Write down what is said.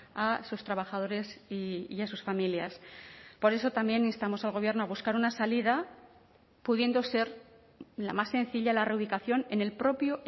a sus trabajadores y a sus familias por eso también instamos al gobierno a buscar una salida pudiendo ser la más sencilla la reubicación en el propio